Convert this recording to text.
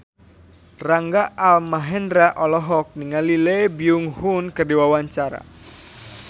Rangga Almahendra olohok ningali Lee Byung Hun keur diwawancara